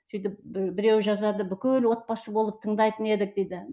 сөйтіп біреу жазады бүкіл отбасы болып тыңдайтын едік дейді